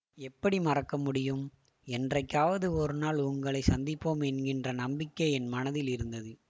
எப்படி மறக்க முடியும் என்றைக்காவது ஒரு நாள் உங்களை சந்திப்போம் என்கிற நம்பிக்கை என் மனதில் இருந்தது